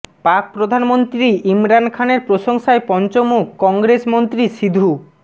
পাক প্রধানমন্ত্রী ইমরান খানের প্রশংসায় পঞ্চমুখ কংগ্রেস মন্ত্রী সিধু